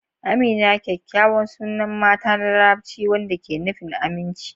Amina kyakkyawa sunan mata na Larabci wanda ke nufin "aminci."